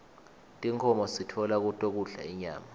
tinkhomo sitfola kuto kudla inyama